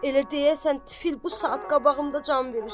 Elə deyəsən, tifl bu saat qabağımda can verir.